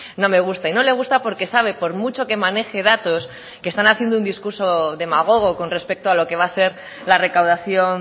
no me gusta y no le gusta porque sabe por mucho que maneje datos que están haciendo un discurso demagogo con respecto a lo que va a ser la recaudación